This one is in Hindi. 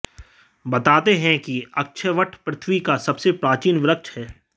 बताते हैं कि अक्षयवट पृथ्वी का सबसे प्राचीन वृक्ष है